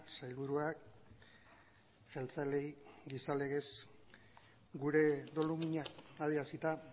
sailburuak jeltzaleei gisa legez gure dolumina adierazita